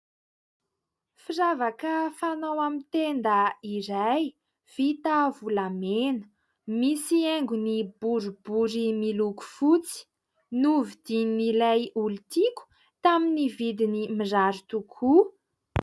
Firavaka fanao amin'ny tenda iray vita volamena, misy haingony boribory miloko fotsy ; novidin'ilay olontiako tamin'ny vidiny mirary tokoa.